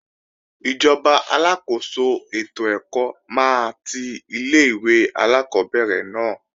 Ìjọba aláàkóso ètò ẹ̀kọ́ máa ti ilé-ìwé alákọ́bẹ̀rẹ̀ náà